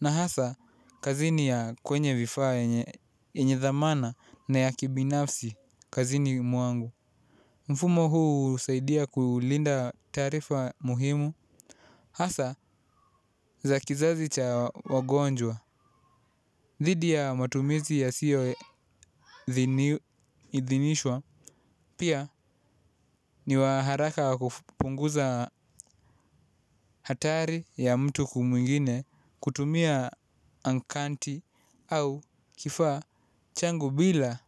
na hasa kazini ya kwenye vifaa enye dhamana na ya kibinafsi kazini mwangu. Mfumo huu husaidia kulinda taarifa muhimu. Hasa za kizazi cha wagonjwa dhidi ya matumizi yasiyoidhinishwa. Pia ni wa haraka kufunguza hatari ya mtu mwingine kutumia ankanti au kifaa changu bila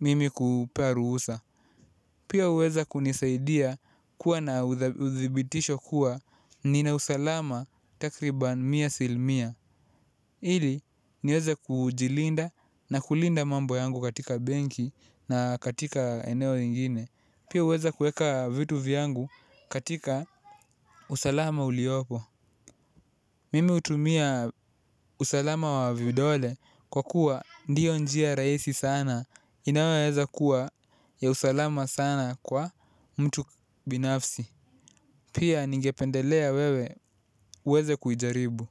mimi kumpea ruhusa. Pia uweza kunisaidia kuwa na udibitisho kuwa ninausalama takriban mia asilimia. Hili niweze kujilinda na kulinda mambo yangu katika benki na katika eneo ingine. Pia uweza kueka vitu vyangu katika usalama uliopo. Mimi utumia usalama wa vidole kwa kuwa ndiyo njia raisi sana inaweza kuwa ya usalama sana kwa mtu binafsi. Pia ningependelea wewe uweze kuijaribu.